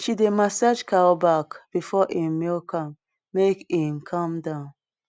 she dey massage cow back before em milk am make em calm down